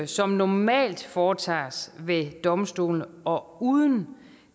som normalt foretages ved domstolene og uden